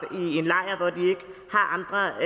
andre